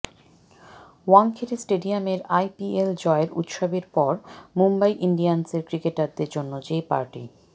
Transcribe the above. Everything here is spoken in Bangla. ওয়াংখেড়ে স্টেডিয়ামের আইপিএল জয়ের উৎসবের পর মুম্বই ইন্ডিয়ান্সের ক্রিকেটারদের জন্য যে পার্টি